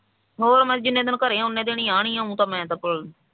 ਹੋਰ ਮੈਂ ਕਿਹਾ ਜਿੰਨੇ ਦਿਨ ਘਰੇ ਆ ਓਨੀ ਦਿਨ ਆਣੇ ਮੈਂ ਤਾਂ ਕੋਲ